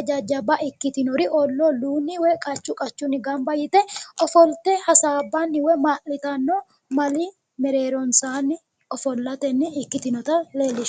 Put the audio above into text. jajjabba ikkitinori olluu olluunni woyi qachu qachunni gamba yite ofolte hasaabanni woyi ma'litanno mali mereeronsaanni ofollatenni ikkitinota leellishshanno.